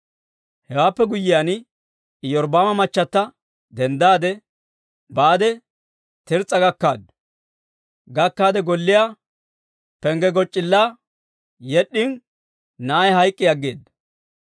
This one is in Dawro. Hewaappe guyyiyaan Iyorbbaama machata denddaade baade Tirs's'a gakkaade golliyaa pengge goc'c'illaa yed'd'in na'ay hayk'k'i aggeeda.